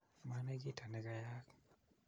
maanai kito nekeyaak.